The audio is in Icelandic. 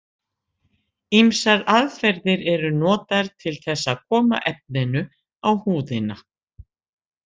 Ýmsar aðferðir eru notaðar til þess að koma efninu á húðina.